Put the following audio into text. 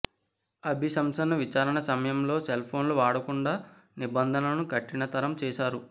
అభిశంసన విచారణ సమయంలో సెల్ ఫోన్లను వాడకుండా నిబంధనలను కఠినతరం చేశారు